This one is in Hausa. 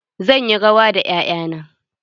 Zan yi rawa da 'ya'ya na.